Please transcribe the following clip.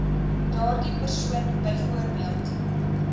daardie persoon byvoorbeeld